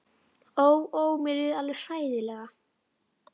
Ó, ó, mér líður alveg hræðilega.